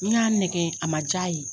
N y'a nɛgɛ a man jaa ye.